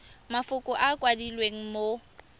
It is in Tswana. mafoko a a kwadilweng mo